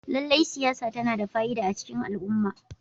Lallai siyasa tana da fa'ida a cikin al'umma.